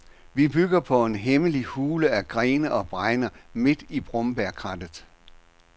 Vi bygger på en hemmelig hule af grene og bregner midt i brombærkrattet.